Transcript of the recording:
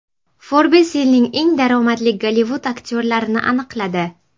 Forbes yilning eng daromadli Gollivud aktyorlarini aniqladi.